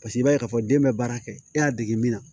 Paseke i b'a ye k'a fɔ den bɛ baara kɛ e y'a dege min na